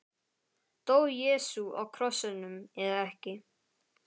Dó Jesú á krossinum eða ekki?